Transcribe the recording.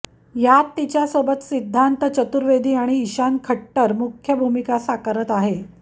यात तिच्यासोबत सिद्धांत चतुर्वेदी आणि ईशान खट्टर मुख्य भूमिका साकारत आहे